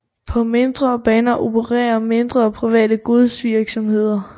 På mindre baner opererer mindre private godsvirksomheder